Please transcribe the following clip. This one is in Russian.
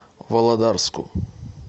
володарску